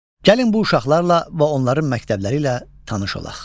Gəlin bu uşaqlarla və onların məktəbləri ilə tanış olaq.